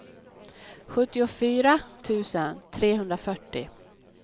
sjuttiofyra tusen trehundrafyrtio